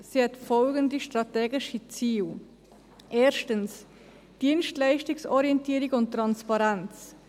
Sie hat folgende strategische Ziele: Erstens, Dienstleistungsorientierung und Transparenz.